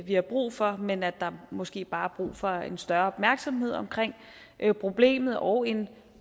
vi har brug for men at der måske bare er brug for en større opmærksomhed omkring problemet og en